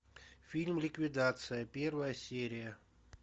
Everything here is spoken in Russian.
фильм ликвидация первая серия